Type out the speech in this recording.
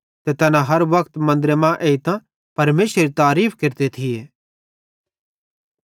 ते तैना हर वक्त मन्दरे मां एइतां परमेशरेरी तारीफ़ केरते थिये